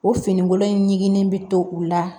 O finikolon in ɲiginnen bɛ to u la